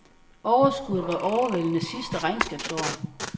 Overskuddet var overvældende sidste regnskabsår.